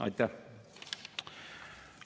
Aitäh!